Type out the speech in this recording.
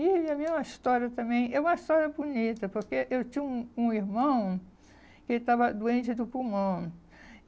E a minha história também é uma história bonita, porque eu tinha um um irmão que estava doente do pulmão.